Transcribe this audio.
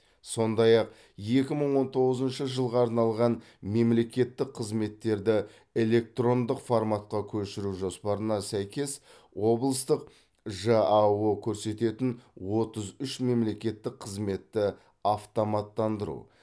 сондай ақ екі мың он тоғызыншы жылға арналған мемлекеттік қызметтерді электрондық форматқа көшіру жоспарына сәйкес облыстың жао көрсететін отыз үш мемлекеттік қызметті автоматтандыру